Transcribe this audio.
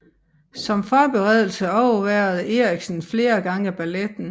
Som forberedelse overværede Eriksen flere gange balletten